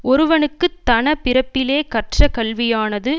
ஒருவனுக்கு தன பிறப்பிலே கற்ற கல்வியானது